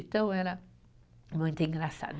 Então, era muito engraçado.